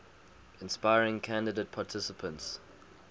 inspiring candidate participants